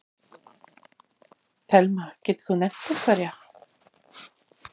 Telma: Getur þú nefnt einhverja?